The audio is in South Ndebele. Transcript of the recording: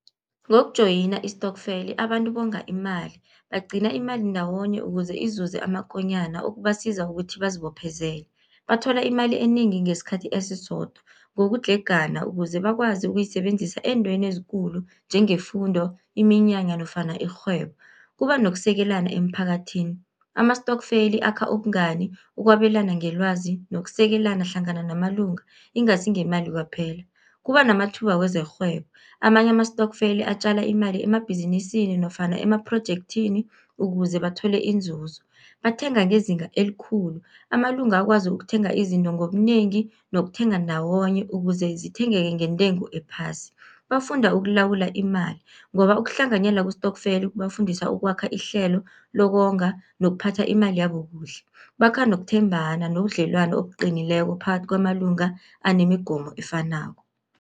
Ngokujoyina istokfeli abantu bonga imali, bagcina imali ndawonye ukuze izuze amakonyana okubasiza ngokuthi bazibophezele. Bathola imali enengi ngesikhathi esisodwa, ngokudlhegana ukuze bakwazi ukuyisebenzisa ezintweni ezikulu njengefundo, iminyanya nofana irhwebo. Kuba nokusekelana emphakathini, amastokfeli akha ubungani, ukwabelana ngelwazi nokusekelana hlangana namalunga ingasi ngemali kwaphela, kuba namathuba wezerhwebo. Amanye amastokfeli atjala imali emabhizinisini nofana emaphrojekthini, ukuze bathole inzuzo. Bathenga ngezinga elikhulu, amalunga akwazi ukuthenga izinto ngobunengi nokuthenga ndawonye, ukuze zithenge-ke ngentengo ephasi. Bafunda ukulawula imali, ngoba ukuhlanganyela kwestokfeli kubafundisa ukwakha ihlelo lokonga nokuphatha imali yabo kuhle. Bakha nokuthembana nobudlelwano obuqinileko phakathi kwamalunga anemigomo efanako.